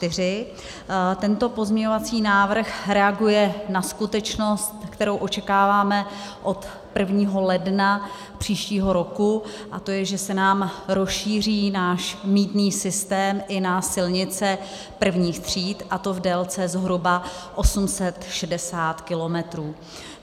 Tento pozměňovací návrh reaguje na skutečnost, kterou očekáváme od 1. ledna příštího roku, a to je, že se nám rozšíří náš mýtný systém i na silnice prvních tříd, a to v délce zhruba 860 kilometrů.